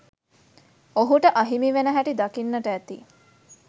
ඔහුට අහිමි වෙන හැටි දකින්නට ඇති